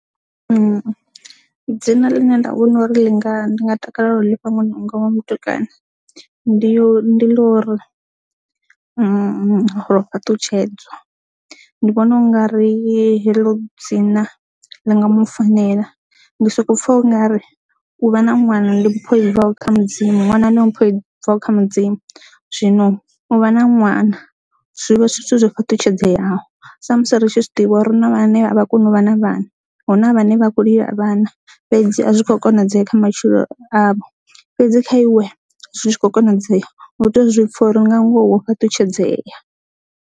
Dzina ḽine nda vhona uri ḽi nga ndi nga takalela lifha ṅwana wanga wa mutukana ndi ḽa uri Rofhaṱutshedza ndi vhona u nga ri heḽo dzina ḽi nga mufanela ndi soko pfha u nga ri u vha na ṅwana ndi mpho i bvaho kha mudzimu. Ndi mpho i bvaho kha mudzimu zwino u vha na ṅwana zwivha zwi zwithu zwo fhaṱutshedzwaho sa musi ri tshi zwi ḓivha uri no nga henevha vha kone u vha na vhana hu na vhane vha khou lila vhanna fhedzi a zwi kho konadzea kha matshilo avho fhedzi kha iwe zwi tshi kho konadzea hu tea zwipfa uri nga ngoho wo fhaṱutshedza.